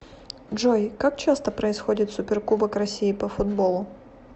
джой как часто происходит суперкубок россии по футболу